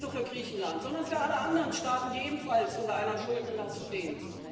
Nicht nur für Griechenland, sondern für alle anderen Staaten, die ebenfalls unter einer Schuldenlast stehen?